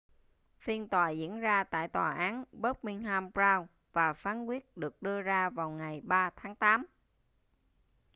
phiên tòa diễn ra tại tòa án birmingham crown và phán quyết được đưa ra vào ngày 3 tháng tám